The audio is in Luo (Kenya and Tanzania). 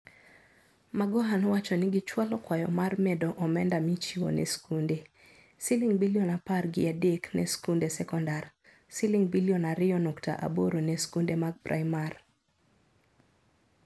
Magoha nowacho ni gichwalo kwayo mar medo omenda michiwo ne skunde. Siling bilion apar gi adek ne skunde sekondar. Siling bilion ario nukta aboro ne skunde mag primar.